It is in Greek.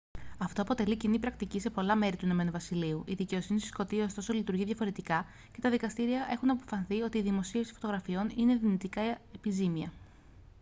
αυτό αποτελεί κοινή πρακτική σε άλλα μέρη του ην βασιλείου η δικαιοσύνη στη σκωτία ωστόσο λειτουργεί διαφορετικά και τα δικαστήρια έχουν αποφανθεί ότι η δημοσίευση φωτογραφιών είναι δυνητικά επιζήμια